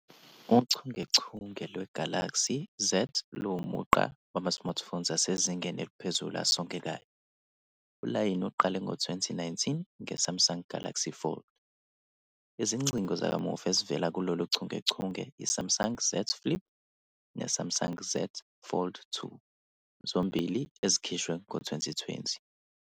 Uchungechunge lwe-Galaxy Z luwumugqa wama-Smartphones asezingeni eliphezulu, asongekayo. Ulayini uqale ngo-2019 nge- Samsung Galaxy Fold. Izingcingo zakamuva ezivela kulolu chungechunge yi- Samsung Galaxy Z Flip ne- Samsung Galaxy Z Fold 2, zombili ezikhishwe ngo-2020.